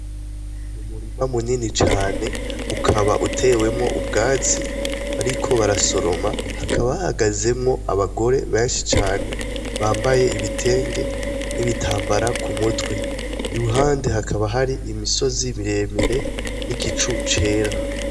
Mumurima munini cane ukaba utewemwo ubwatsi bariko barasoroma hakabahagazemwo abagore benshi cane bambaye ibitenge n'ibitambara ku mutwe ibuhande hakaba hari imisozi miremire n'igicu cera.